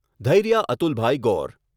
Dhairya Atulbhai Gor